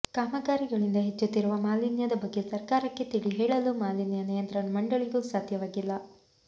ಕಾಮಗಾರಿಗಳಿಂದ ಹೆಚ್ಚುತ್ತಿರುವ ಮಾಲಿನ್ಯದ ಬಗ್ಗೆ ಸರ್ಕಾರಕ್ಕೆ ತಿಳಿ ಹೇಳಲು ಮಾಲಿನ್ಯ ನಿಯಂತ್ರಣ ಮಂಡಳಿಗೂ ಸಾಧ್ಯವಾಗಿಲ್ಲ